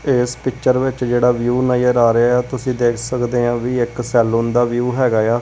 ਇਸ ਪਿੱਚਰ ਵਿੱਚ ਜਿਹੜਾ ਵਿਊ ਨਜ਼ਰ ਆ ਰਿਹਾ ਤੁਸੀਂ ਦੇਖ ਸਕਦੇ ਆ ਵੀ ਇੱਕ ਸੈੱਲੂਨ ਦਾ ਵਿਊ ਹੈਗਾ ਆ।